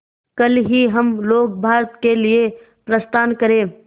कल ही हम लोग भारत के लिए प्रस्थान करें